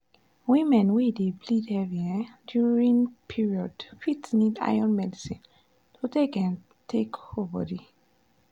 women wey dey bleed heavy um during period fit need iron medicine to um take hold body.